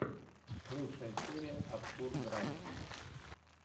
лучшая серия абсурд драйв